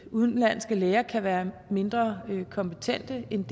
udenlandske læger kan være mindre kompetente end